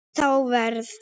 Þá verð